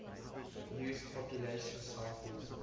used population samples